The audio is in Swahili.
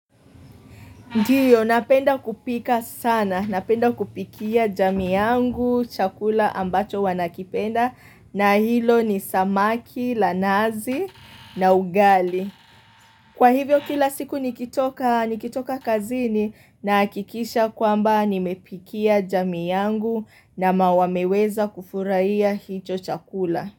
Ndiyo, napenda kupika sana. Napenda kupikia jamii yangu, chakula ambacho wanakipenda na hilo ni samaki, lanazi na ugali. Kwa hivyo kila siku nikitoka kazini na akikisha kwamba nimepikia jamiiangu na mawameweza kufurahi hicho chakula.